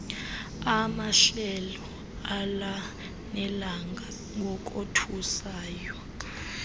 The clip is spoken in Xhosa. amahlelo alanelanga ngokothusayo